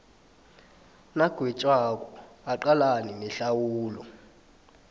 nagwetjwako aqalane nehlawulo